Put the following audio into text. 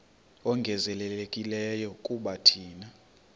ongezelelekileyo kuba thina